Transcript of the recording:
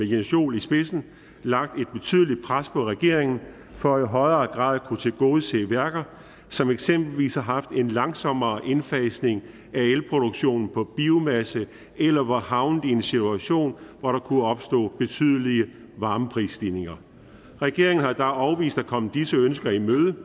jens joel i spidsen lagt et betydeligt pres på regeringen for i højere grad at kunne tilgodese værker som eksempelvis har haft en langsommere indfasning af elproduktion på biomasse eller var havnet i en situation hvor der kunne opstå betydelige varmeprisstigninger regeringen har dog afvist at komme disse ønsker i møde